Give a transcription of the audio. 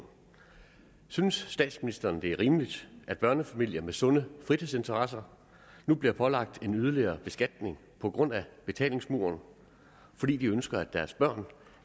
synes statsministeren det er rimeligt at børnefamilier med sunde fritidsinteresser nu bliver pålagt en yderligere beskatning på grund af betalingsmuren fordi de ønsker at deres børn